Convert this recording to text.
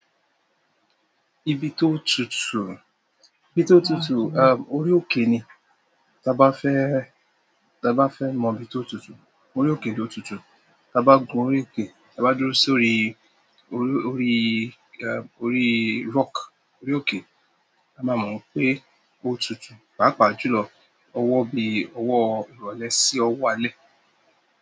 Ibi tó tutù, ibi tó tutù, a, orí òkè ni. Taa bá fẹ́, ta bá fẹ́ mọ ibi tó tutù, orí òkè ló tutù. Ta bá gun orí òkè, ta bá dúró sórí, orí, orí, e, orí rock, orí òkè, a máa mọ̀ pé ó tutù. Pàápàá jùlọ, ọwọ́ bí i ọwọ́ ìrọ̀lẹ́ sí ọwọ́ alẹ́.